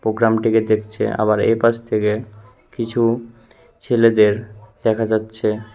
গ্রামটিকে দেখছে আবার এই পাশ থেকে কিছু ছেলেদের দেখা যাচ্ছে।